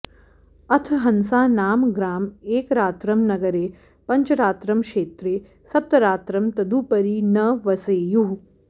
अथ हंसा नाम ग्राम एकरात्रं नगरे पञ्चरात्रं क्षेत्रे सप्तरात्रं तदुपरि न वसेयुः